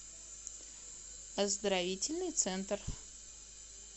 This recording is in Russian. оздоровительный центр